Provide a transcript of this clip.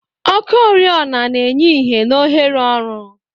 Ọkụ oriọna na-enye ìhè na ohere ọrụ.